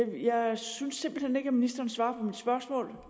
jeg synes simpelt hen ikke at ministeren svarer på spørgsmål